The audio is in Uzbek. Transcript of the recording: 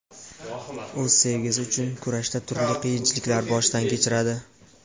O‘z sevgisi uchun kurashda turli qiyinchiliklar boshdan kechiradi.